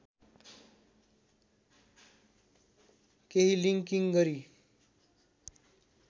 केही लिङ्किङ गरी